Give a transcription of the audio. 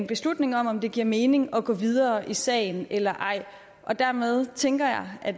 beslutning om om det giver mening at gå videre i sagen eller ej dermed tænker jeg at